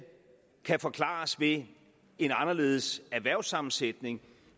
kan forklares ved en anderledes erhvervssammensætning